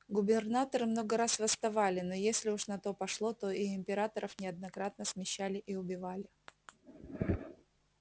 губернаторы много раз восставали но если уж на то пошло то и императоров неоднократно смещали и убивали